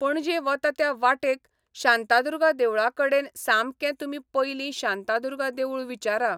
पणजे वता त्या वाटेक शांतादुर्गा देवळा कडेन सामकें तुमी पयलीं शांतादुर्गा देवूळ विचारा.